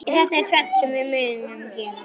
Þetta tvennt munum við gera.